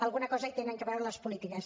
alguna cosa hi tenen a veure les polítiques